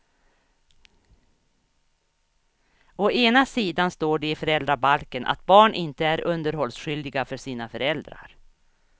Å ena sidan står det i föräldrabalken att barn inte är underhållsskyldiga för sina föräldrar.